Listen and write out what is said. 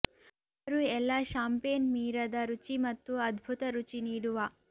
ಅವರು ಎಲ್ಲಾ ಷಾಂಪೇನ್ ಮೀರದ ರುಚಿ ಮತ್ತು ಅದ್ಭುತ ರುಚಿ ನೀಡುವ